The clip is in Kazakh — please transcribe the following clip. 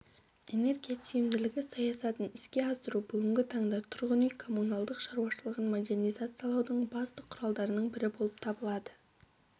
энергия тиімділігі саясатын іске асыру бүгінгі таңда тұрғын үй-коммуналдық шаруашылығын модернизациялаудың басты құралдарының бірі болып табылады